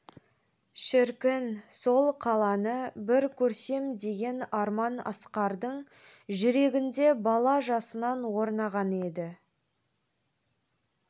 шіркін сол қаланы бір көрсем деген арман асқардың жүрегінде бала жасынан орнаған еді